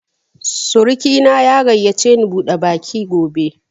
Surki na ya gayyace ni bude baki gobe